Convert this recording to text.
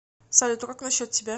салют а как насчет тебя